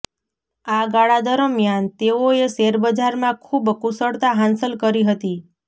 આ ગાળા દરમિયાન તેઓએ શેરબજારમાં ખુબ કુશળતા હાંસલ કરી હતી